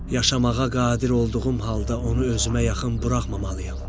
Yaşamağa qadir olduğum halda onu özümə yaxın buraxmamalıyam.